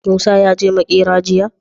Musa yaje makera jiya?